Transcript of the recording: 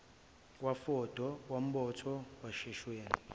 kwafodo kwambotho kwashaweni